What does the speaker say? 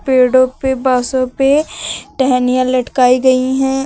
पेड़ो पे बासो पे टहनियां लटकाई गई हैं।